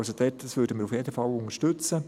Das würden wir auf jeden Fall unterstützen.